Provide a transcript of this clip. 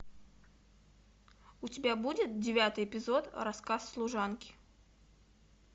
у тебя будет девятый эпизод рассказ служанки